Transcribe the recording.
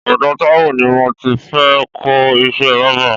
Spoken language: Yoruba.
Ọdọ Taiwo ni mó ti fệ kọ iṣè bàbà